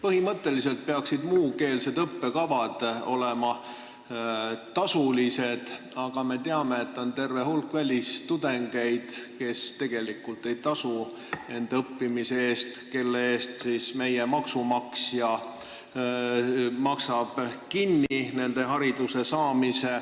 Põhimõtteliselt peaksid muukeelsed õppekavad olema tasulised, aga me teame, et on terve hulk välistudengeid, kes tegelikult ei tasu enda õppimise eest, nende hariduse maksab kinni meie maksumaksja.